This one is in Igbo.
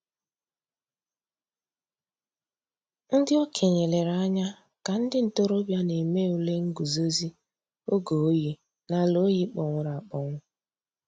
Ǹdí òkènye lèrè ànyà kà ńdí ntòròbịa nà-èmè ǔlè ngùzòzì ògè òyì n'àlà òyì kpọ̀nwụrụ̀ àkpọnwụ̀.